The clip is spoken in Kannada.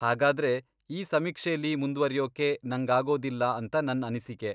ಹಾಗಾದ್ರೆ, ಈ ಸಮೀಕ್ಷೆಲಿ ಮುಂದ್ವರಿಯೋಕೆ ನಂಗಾಗೋದಿಲ್ಲ ಅಂತ ನನ್ ಅನಿಸಿಕೆ.